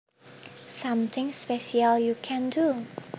Something special you can do